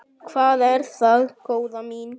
Hvað er það, góða mín?